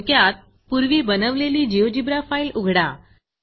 थोडक्यात पूर्वी बनवलेली GeoGebraजियोजीब्रा फाईल उघडा